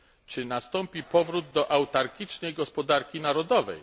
Czy nastąpi powrót do autarkicznej gospodarki narodowej?